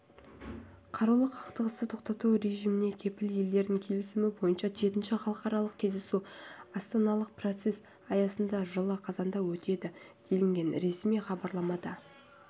қарулы қақтығысты тоқтату режиміне кепіл елдердің келісімі бойынша жетінші халықаралық кездесу астаналық процес аясында жылы қазанда өтеді делінген ресми хабарламада